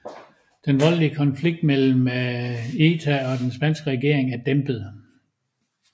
Den voldelige konflikt mellem ETA og den spanske regering er dæmpet